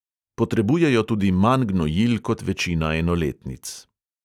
Potrebujejo tudi manj gnojil kot večina enoletnic.